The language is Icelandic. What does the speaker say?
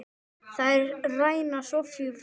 Þeir ræna Soffíu frænku.